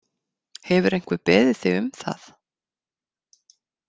Hefur einhver beðið þig um það?